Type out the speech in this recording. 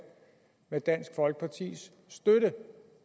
med dansk folkepartis støtte